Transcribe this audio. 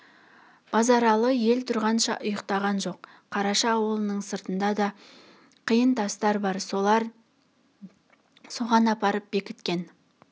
базаралы ел тұрғанша ұйқтаған жоқ қараша аулының сыртында да қиын тастар бар болатын соған апарып бекіткен